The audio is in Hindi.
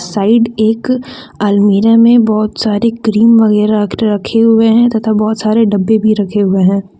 साइड एक अलमीरा में बहुत सारे क्रीम वगैरह रखे हुए हैं तथा बहुत सारे डब्बे भी रखे हुए हैं।